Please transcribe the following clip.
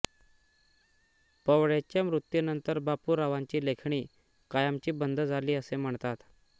पवळेच्या मृत्यूनंतर बापूरांवांची लेखणी कायमची बंद झाली असे म्हणतात